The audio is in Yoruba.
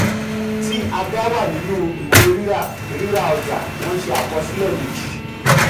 tí aga wà nínú ìwé ríra ríra ọjà wọ́n ṣe àkọsílẹ méjì.